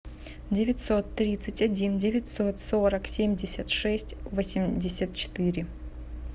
девятьсот тридцать один девятьсот сорок семьдесят шесть восемьдесят четыре